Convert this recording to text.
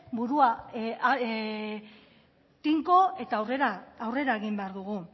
burua tinko eta aurrera egin behar dugu